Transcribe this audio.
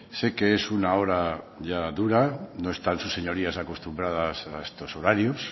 sé que es una hora ya dura no están sus señorías acostumbradas a estos horarios